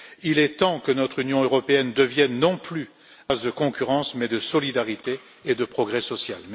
Il est temps que notre Union européenne devienne un espace non plus de concurrence, mais de solidarité et de progrès social.